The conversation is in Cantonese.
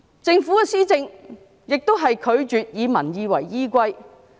政府施政亦拒絕以民意為依歸。